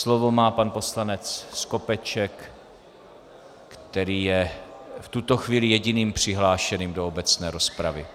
Slovo má pan poslanec Skopeček, který je v tuto chvíli jediným přihlášeným do obecné rozpravy.